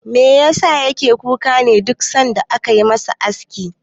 Me yasa yake kuka ne duk sanda ake masa aski?